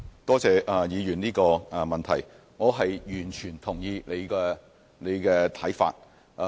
多謝陳議員的補充質詢，我完全認同他的看法。